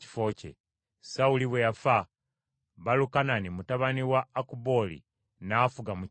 Sawuli bwe yafa, Baalukanani mutabani wa Akubooli n’afuga mu kifo kye.